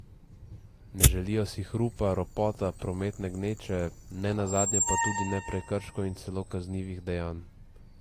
Ne želijo si hrupa, ropota, prometne gneče, ne nazadnje pa tudi ne prekrškov in celo kaznivih dejanj.